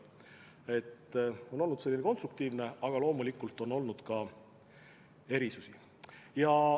See koostöö on olnud konstruktiivne, aga loomulikult on olnud ka eriarvamusi.